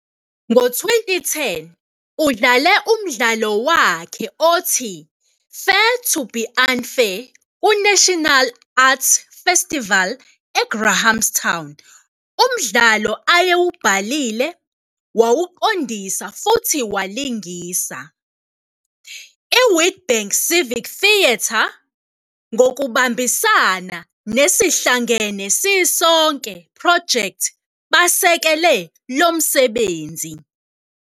Ngo-2010 udlale umdlalo wakhe othi 'Fair To be Un-Fair' kuNational Arts Festival eGrahamstown, umdlalo ayewubhalile, wawuqondisa futhi walingisa. I-Witbank Civic Theatre ngokubambisana ne-Sihlangene Sisonke Development Project basekele lo msebenzi.